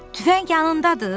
Tüfəng yanındadır?